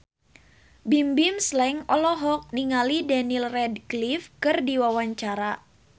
Bimbim Slank olohok ningali Daniel Radcliffe keur diwawancara